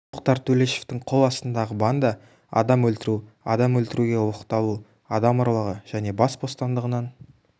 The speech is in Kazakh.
тоқтар төлешовтың қол астындағы банда адам өлтіру адам өлтіруге оқталу адам ұрлығы және бас бостандығынан